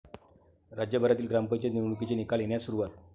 राज्यभरातील ग्रामपंचायत निवडणुकांचे निकाल येण्यास सुरूवात